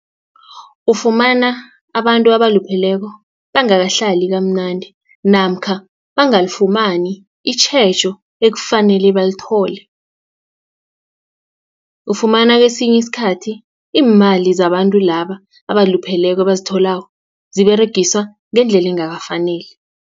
Ufumana abantu abalupheleko bangakahlali kamnandi namkha bangafumani itjhejo ekufanele balithole. Ufumana kesinye isikhathi iimali zabantu laba abalupheleko ebazitholako ziberegiswa ngendlela engakafaneli.